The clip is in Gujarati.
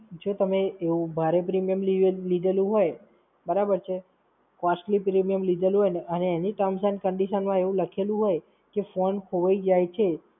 જો તમે એવો ભારે premium લી લીધેલું હોય, બરાબર છે? costly Premium લીધેલું હોય અને એની terms and conditions એવું લખેલું હોય, કે Phone ખવાઈ જાય છે,